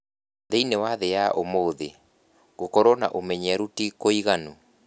Thĩinĩ wa thĩ ya ũmũthĩ, gũkorũo na ũmenyeru ti kũiganu.